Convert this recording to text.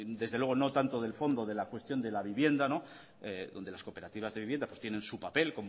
desde luego no tanto del fondo de la cuestión de la vivienda donde las cooperativas de vivienda pues tienen su papel